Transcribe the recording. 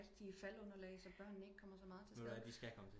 Rigtige faldunderlag så børnene ikke kommer så meget til skade